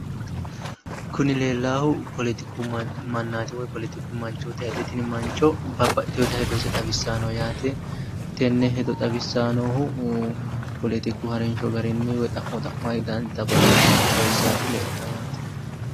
Kuni leellaahu poletiku mannaati woy poletiku manchooti yaate tini mancho babbaxxiteyoota hedose xawissayi no yaate tenne hedo xawissayi noohu poletiku harinsho garinni woy xa'mo xa'mate danita babbaxitino hedo xawissati leeltawo yaate.